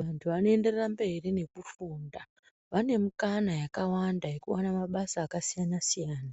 Antu anoenderera mberi nekufunda vanemikana yakawanda yekuone mabasa akasiyanasiyana